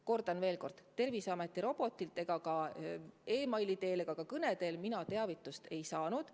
Kordan veel kord: Terviseameti robotilt ega ka meili või telefoni teel mina teavitust ei saanud.